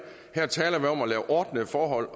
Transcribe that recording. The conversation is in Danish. her taler vi om at lave ordnede forhold